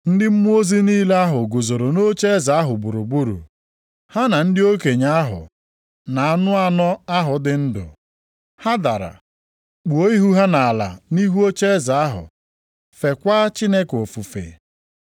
Ndị mmụọ ozi niile ahụ guzoro ocheeze ahụ gburugburu, ha na ndị okenye ahụ na anụ anọ ahụ dị ndụ. Ha dara, kpuo ihu ha nʼala nʼihu ocheeze ahụ feekwa Chineke ofufe,